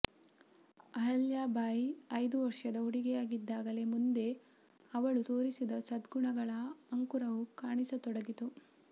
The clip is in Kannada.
ಅಹಲ್ಯಾಬಯಿ ಐದು ವರ್ಷದ ಹುಡುಗಿಯಾಗಿದ್ದಾಗಲೇ ಮುಂದೆ ಅವಳು ತೋರಿಸಿದ ಸದ್ಗುಣಗಳ ಅಂಕುರವು ಕಾಣಿಸತೊಡಗಿತು